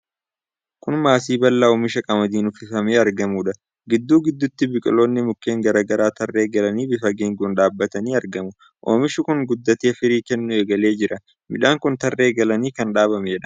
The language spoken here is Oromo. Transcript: Kun maasii bal'aa oomisha qamadiin uffifamee argamuudha. Giddu gidduutti biqiloonni mukkeen garaa garaa tarree galanii bifa geengoon dhaabatanii argamu. Oomishi kun guddatee firii kennuu egalee jira. Midhaan kun tarree galee kan dhaabameedha.